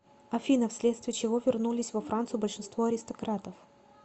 афина вследствие чего вернулись во францию большинство аристократов